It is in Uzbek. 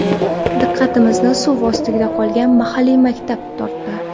Diqqatimizni suv ostida qolgan mahalliy maktab tortdi.